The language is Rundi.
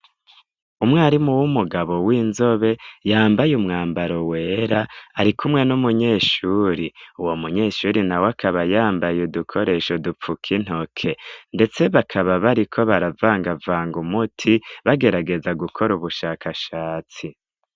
umwarimu w'umugabo w'inzobe yambaye umwambaro wera arikumwe n'umunyeshuri uwo munyeshuri nawe akaba yambaye udukoresho dupfuka intoke ndetse bakaba bariko baravanga vanga umuti bagerageza gukora ubushakashatsi